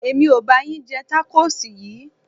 Èmi ò ba yín jẹ tákóòsì yìí.